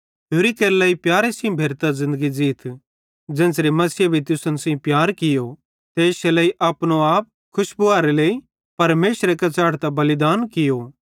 होरि केरे लेइ प्यारे सेइं भेरतां ज़िन्दगी ज़ीथ ज़ेन्च़रे मसीहे भी तुसन सेइं प्यार कियो ते इश्शे लेइ अपनो आप रोड़ी मुशकरे लेइ परमेशरे कां च़ेढ़तां बलिदान केरो